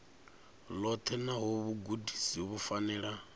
ḽoṱhe nahone vhugudisi vhu fanela